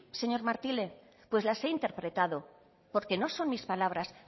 señor martínez pues las he interpretado porque no son mis palabras